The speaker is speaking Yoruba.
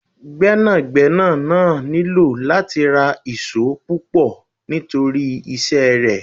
Gbẹ́nàgbẹ́nà náà nílò láti ra ìṣó púpọ̀ nítorí iṣẹ́ rẹ.